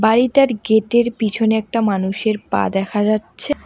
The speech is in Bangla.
বাড়িটার গেটের পিছনে একটা মানুষের পা দেখা যাচ্ছে।